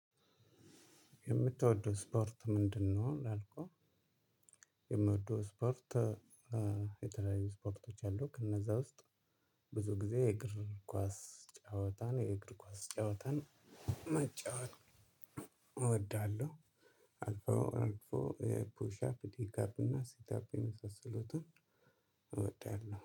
የምትወደው ስፖርት ምንድነው ላልከው? የምወደው ስፖርት የተለያዩ ስፖርቶች አሉ ከእነዛ ውስጥ ብዙ ጊዜ የእግር ኳስ ጨዋታን የእግር ኳስ ጨዋታን መጫወት እወዳለሁ። አልፎ አልፎ ፑሻፕ ዲጋፕ እና ሲታፕ የመሰሉትን እወዳለሁ